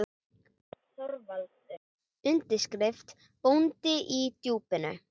ÞORVALDUR: Undirskriftin: Bóndi í Djúpinu!